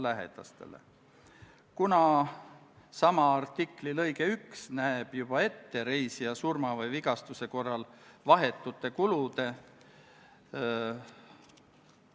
Eesti osaleb aktiivselt ÜRO missioonidel, mis on kooskõlas meie välis- ja julgeolekupoliitilise otsusega suurendada nähtavust ÜRO-s.